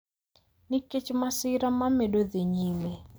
nikech masira ma medo dhi nyime